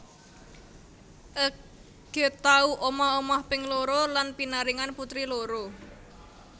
Ege tau omah omah ping loro lan pinaringan putri loro